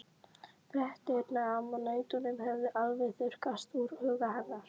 Fréttirnar af nautunum höfðu alveg þurrkast úr huga hennar.